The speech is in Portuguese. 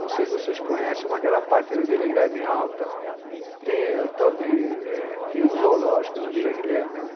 Não sei se vocês conhecem, mas aquela parte da Vila Guilherme Alta, tem um tal de, tinha um zoológico na Vila Guilherme, né?